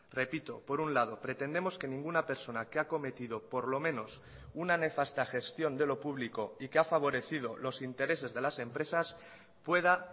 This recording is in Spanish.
repito por un lado pretendemos que ninguna persona que ha cometido por lo menos una nefasta gestión de lo público y que ha favorecido los intereses de las empresas pueda